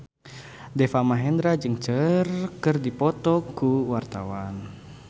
Deva Mahendra jeung Cher keur dipoto ku wartawan